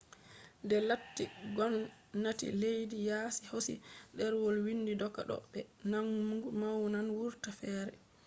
de latti gomnati leddi yaasi hosi derwol windi doka ɗo be mangu wawan wurta fere